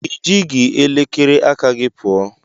I ji gị elekere aka gị pụọ.